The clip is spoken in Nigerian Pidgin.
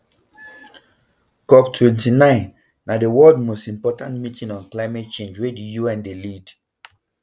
coptwenty-nine na di world most important meeting on climate change wey di un dey lead